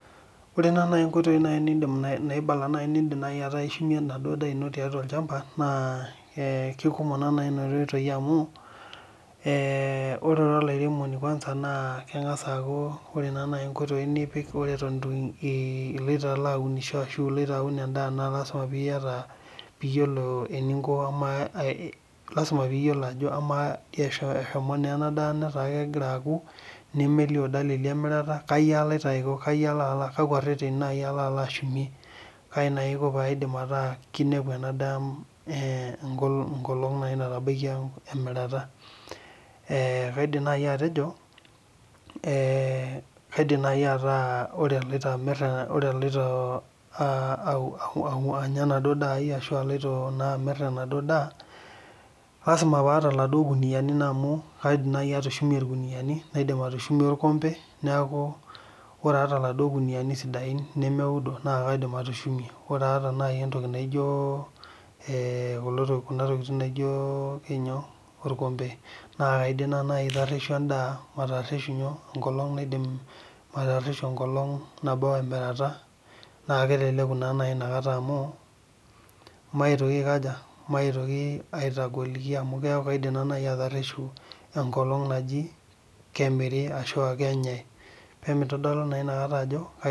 Ore naanji nkoitoi naibala nindim aishunyie enaduo daa ino tiatu olchampa, naa keikumok naa naji nena oitoi amu, kengas aaku ore ira oliaremoni ore naji nkoitoi nipik iloto aunisho, ashu iloto aun endaa naa lasima pee iyiolo ajo eshomo naa ena daa netaa kegira aku nemelio dalili emirata kaji alo aiko ,kaji alo ashumie ,kaji aiko metaa kinepu ena daa nkolongi naaji natabaikia emirata. Kaidim naji atejo, ore aloito enya enaduo daa ai ashu aloito naa amir enaduo daa, lasima pee ata laduo kuniyiani amu kaidim naaji atushumie irkuniyiani naidim atushumie orkombe. Neeku ore aata laduo kuniyiani sidain nemeudo naa kaidim atushumie. Ore aata naaji entoki naijo orkompe, naa kaidim naa kaidim naji atareshu endaa matabau enkolong emirata naa keleleku naa naji inakata amu maitoki aitagoliki amu keeku naa naji kaidim atareshu enkolong naji kemiri ashu kenyae.